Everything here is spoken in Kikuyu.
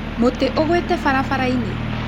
Mũtĩ ũgũĩte barabara-inĩ?